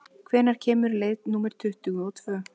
Tinni, hvenær kemur leið númer tuttugu og tvö?